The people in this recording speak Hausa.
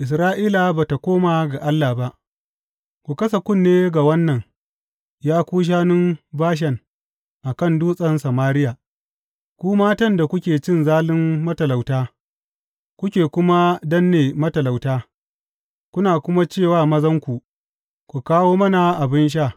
Isra’ila ba ta koma ga Allah ba Ku kasa kunne ga wannan, ya ku shanun Bashan a kan Dutsen Samariya, ku matan da kuke cin zalin matalauta, kuke kuma danne matalauta, kuna kuma ce wa mazanku, Ku kawo mana abin sha!